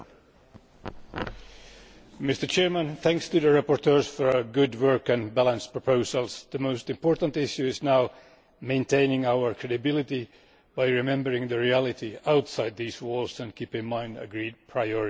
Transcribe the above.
Mr President, my thanks to the rapporteurs for their good work and balanced proposals. The most important issue now is maintaining our credibility by remembering the reality outside these walls and keeping in mind agreed priorities.